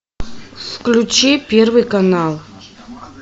включи первый канал